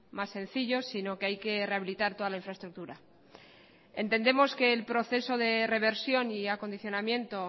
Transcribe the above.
más sencillo sino que hay que rehabilitar toda la infraestructura entendemos que el proceso de reversión y acondicionamiento